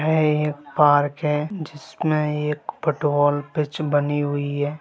है एक पार्क है जिसमें एक पटबॉल पिच बनी हुई है।